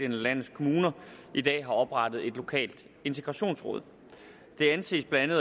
landets kommuner i dag har oprettet et lokalt integrationsråd det anses blandt